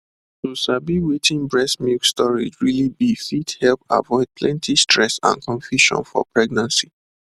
to sabi wetin breast milk storage really be fit help avoid plenty stress and confusion for pregnancy